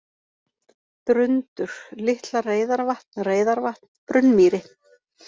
Drundur, Litla-Reyðarvatn, Reyðarvatn, Brunnmýri